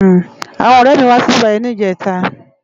Awòn òrè mi wá sibibáyi nijètá